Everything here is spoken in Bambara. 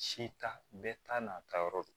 Si ta bɛɛ ta n'a ta yɔrɔ don